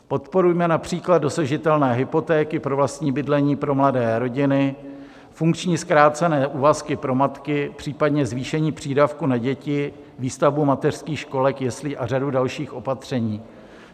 Podporujme například dosažitelné hypotéky pro vlastní bydlení pro mladé rodiny, funkční zkrácené úvazky pro matky, případně zvýšení přídavku na děti, výstavbu mateřských školek, jeslí a řadu dalších opatření.